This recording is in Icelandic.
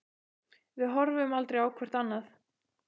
Við horfum aldrei á hvort annað.